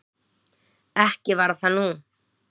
Ekki var það nú.